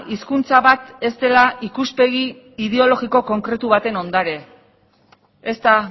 hizkuntza bat ez dela ikuspegi ideologiko konkretu baten ondare ez da